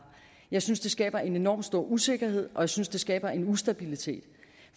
jeg synes det skaber en enormt stor usikkerhed og jeg synes det skaber en ustabilitet